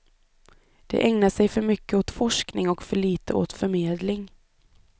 De ägnar sig för mycket åt forskning och för lite åt förmedling.